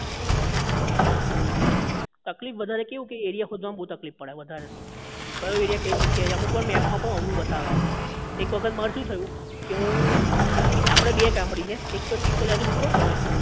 તકલીફ બધાને કેવું કે area શોધવામાં બધાને તકલીફ પડે વધારે તો કયો area કઈ જગ્યા એ અમુક વાર map માં પણ અવળું બતાવે એક વખત મારે શું થયું કે હું આપણે બે ગામડી છે એક તો ચીખોલા થી ઉતરો ને તમે